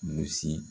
Gosi